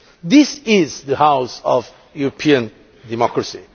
This is the house of European democracy